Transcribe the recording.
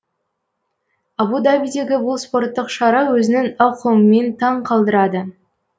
абу дабидегі бұл спорттық шара өзінің ауқымымен таң қалдырады